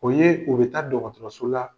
O ye dɛmɛ ka taa dɔgɔtɔrɔso la